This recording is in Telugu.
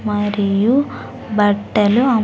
మరియు బట్టలు అమ్ --